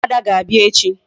Ụmụada ga-abịa echi.